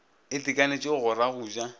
itekanetšego go ra go ja